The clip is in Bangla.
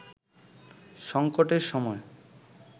সংকটের সময়